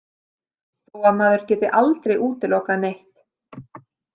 Þó að maður geti aldrei útilokað neitt.